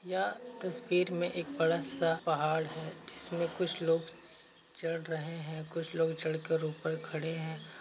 यह तस्वीर में एक बड़ा सा पहाड़ है। जिसमें कुछ लोग चढ़ रहे हैं। कुछ लोग चढ़ कर ऊपर खड़े हैं।